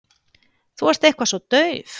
Þú ert eitthvað svo dauf.